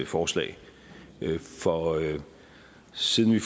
forslag for siden vi